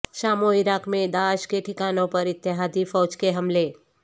شام و عراق میں داعش کے ٹھکانوں پر اتحادی فوج کے حملے